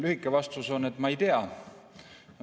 Lühike vastus on, et ma ei tea.